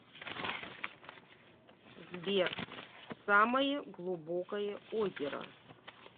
сбер самое глубокое озеро